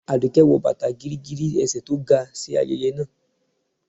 aduke wọ batá gígígírí ésẹ tó ga si ayẹyẹ naa